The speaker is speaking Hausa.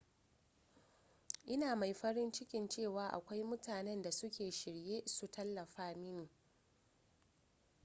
ina mai farin ciki cewa akwai mutanen da suke shirye su tallafa mini